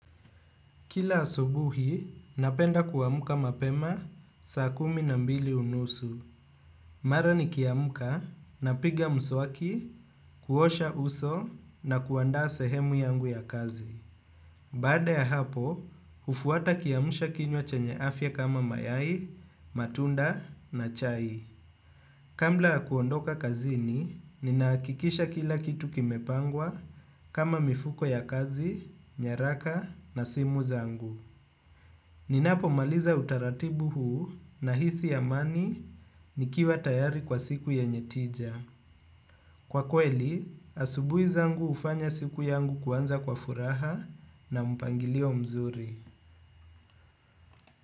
Kila asubuhi, napenda kuauka mapema, saa kumi na mbili unusu. Mara nikioamka, napiga mswaki, kuosha uso, na kuandaa sehemu yangu ya kazi. Bada ya hapo, hufuata kiamsha kinywa chenye afya kama mayai, matunda na chai. Kabla ya kuondoka kazini, ninahakikisha kila kitu kimepangwa, kama mifuko ya kazi, nyaraka, na simu yangu. Ninapomaliza utaratibu huu nahisi amani ni kiwa tayari kwa siku yenye tija. Kwa kweli, asubuhi zangu hufanya siku yangu kuanza kwa furaha na mpangilio mzuri.